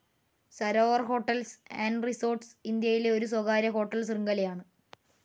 Sarovar hotels and റിസോർട്ടുകൾ ഇന്ത്യയിലെ ഒരു സ്വകാര്യ ഹോട്ടൽ ശൃംഖലയാണ്.